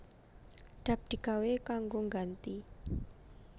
Dap digawé kanggo ngganti